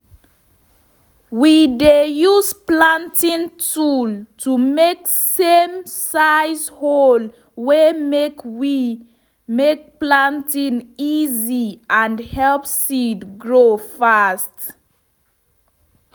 we dey use planting tool to make same-size hole we make wey make planting easy and help seed grow fast.